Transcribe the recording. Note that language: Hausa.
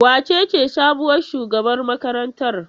Wacece sabuwar shugabar makarantar?